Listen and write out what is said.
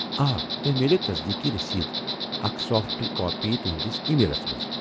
آ، تۄہہ میلِیہِ تصدیٖقی رٔسیٖد اکھ سافٹ کاپی تُہندِس ای میلس منٛز۔